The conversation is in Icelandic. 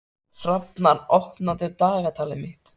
Hafnar, opnaðu dagatalið mitt.